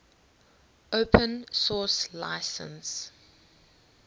open source license